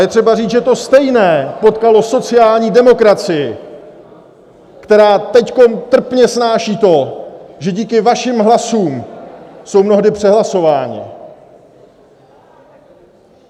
Je třeba říct, že to stejné potkalo sociální demokracii, která teď trpně snáší to, že díky vašim hlasům jsou mnohdy přehlasováni.